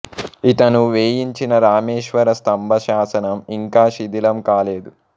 ఇతను వేయించిన రామేశ్వర స్థంభ శాసనం ఇంకా శిధిలం కాలేదు